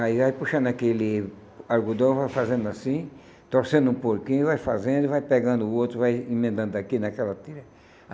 Aí vai puxando aquele algodão, vai fazendo assim, torcendo um pouquinho, vai fazendo e vai pegando o outro, vai emendando aqui naquela tira.